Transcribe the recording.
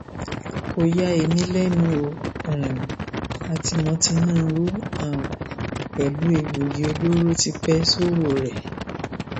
kò ya èmi lẹnu ó um a ti mọ tinubu um pẹlú egbòogi olóró tipẹ sowore